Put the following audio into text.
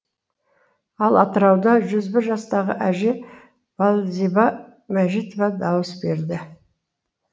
ал атырауда жүз бір жастағы әже балзиба мәжитова дауыс берді